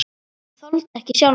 Hann þoldi ekki sjálfan sig.